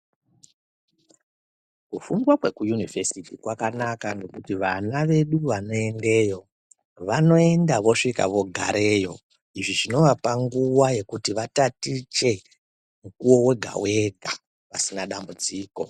Kufundwa kweku Univhesiti kwakanaka ngekuti vana vedu vanoendeyo vanoenda vosvika vogareyo, izvi zvinovapa nguwa yekuti vatatiche mukuwo wega-wega pasina dambudziko.